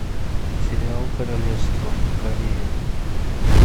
сериал королевство корея